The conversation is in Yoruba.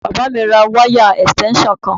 Bàbá mi ra wáyà ẹ̀sìtẹ́ńsàn kan